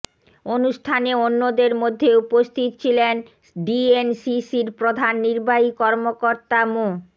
অনুষ্ঠানে অন্যদের মধ্যে উপস্থিত ছিলেন ডিএনসিসির প্রধান নির্বাহী কর্মকর্তা মো